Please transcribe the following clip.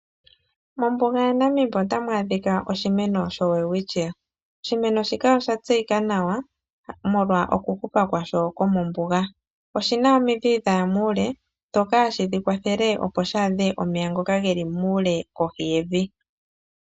Mombuga yaNamib otamu adhika oshimeno shoWelwitchia, oshimeno shika osha tseyika nawa molwa okuhupa kwasho kwomombuga, oshina omidhi dhaya muule dhoka hadhi shikwathele opo shaadhe omeya ngoka geli muule kohi yevi.